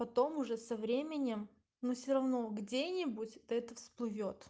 потом уже со временем но все равно где-нибудь это всплыло